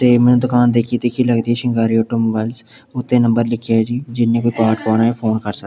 ਤੇ ਮੈਨੂੰ ਦੁਕਾਨ ਦੇਖੀ ਦੇਖੀ ਲੱਗ ਰਹੀ ਸਿੰਗਾਰੋ ਆਟੋ ਮੋਬਾਇਲਸ ਉੱਤੇ ਨੰਬਰ ਲਿਖਿਆ ਹੋਇਆ ਜੀ ਜਿਹਨੇ ਕੋਈ ਪਾਉਣਾ ਫੋਨ ਕਰ ਸਕਦਾ --